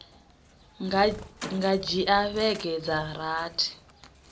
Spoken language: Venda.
nga dzhia vhege dza rathi